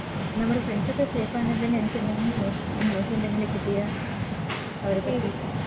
നമ്മുടെ Friends ഒക്കെ Safe ആണെന്ന് നിനക്കെന്തെങ്കിലും News എന്തെങ്കിലും കിട്ടിയ അവരെ പറ്റി